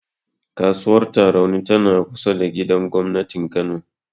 Kasuwar Tarauni tana kusa da gidan gobnatin Kano.